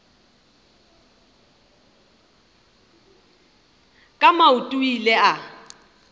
ka maoto o ile a